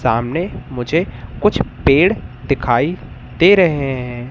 सामने मुझे कुछ पेड़ दिखाई दे रहे हैं।